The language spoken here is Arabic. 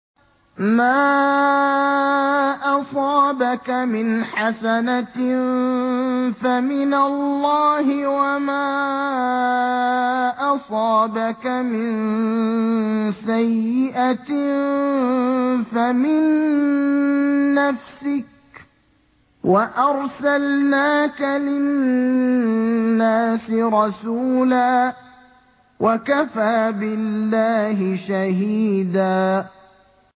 مَّا أَصَابَكَ مِنْ حَسَنَةٍ فَمِنَ اللَّهِ ۖ وَمَا أَصَابَكَ مِن سَيِّئَةٍ فَمِن نَّفْسِكَ ۚ وَأَرْسَلْنَاكَ لِلنَّاسِ رَسُولًا ۚ وَكَفَىٰ بِاللَّهِ شَهِيدًا